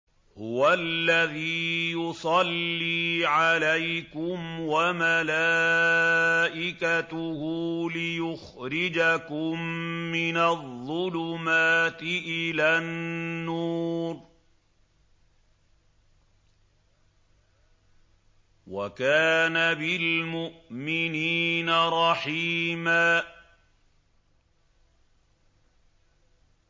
هُوَ الَّذِي يُصَلِّي عَلَيْكُمْ وَمَلَائِكَتُهُ لِيُخْرِجَكُم مِّنَ الظُّلُمَاتِ إِلَى النُّورِ ۚ وَكَانَ بِالْمُؤْمِنِينَ رَحِيمًا